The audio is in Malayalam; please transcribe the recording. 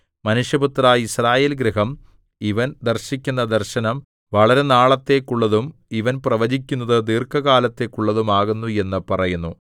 മനുഷ്യപുത്രാ യിസ്രായേൽഗൃഹം ഇവൻ ദർശിക്കുന്ന ദർശനം വളരെനാളത്തേക്കുള്ളതും ഇവൻ പ്രവചിക്കുന്നത് ദീർഘകാലത്തേക്കുള്ളതും ആകുന്നു എന്ന് പറയുന്നു